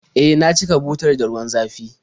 E, na cika butar da ruwa zafi